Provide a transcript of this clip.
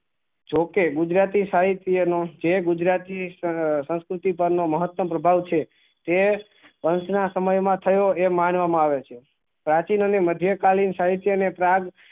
જોકે ગુજરાતી સાહિત્ય નું જે ગુજરાતી સંસ્કૃતિ પણ નો મહત્તમ પ્રભાવ છે તે કંસ ના સમય માં થયો એ માનવા માં આવે છે પ્રાચી અને મધ્ય કાલીન સાહિત્ય પરાગ